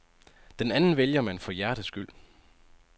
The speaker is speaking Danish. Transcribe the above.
Den anden vælger man for hjertets skyld.